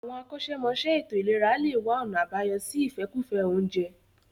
Àwọn akọ́ṣẹ́mọṣẹ́ ètò ìlera lè wá ọ̀nà àbáyọ sí ìfẹ́kùfẹ́ oúnjẹ